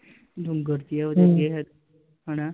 ਹਨਾ I